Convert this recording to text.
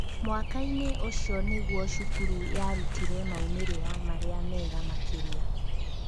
Mwaka-inĩ ũcio nĩguo cukuru yarutire maumĩrĩra marĩa mega makĩria